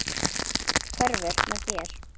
Allt hverfur með þér.